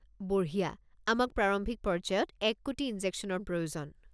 বঢ়িয়া। আমাক প্ৰাৰম্ভিক পৰ্য্যায়ত ১ কোটি ইনজেকশ্যনৰ প্ৰয়োজন।